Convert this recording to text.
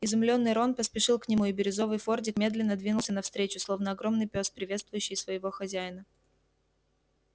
изумлённый рон поспешил к нему и бирюзовый фордик медленно двинулся навстречу словно огромный пёс приветствующий своего хозяина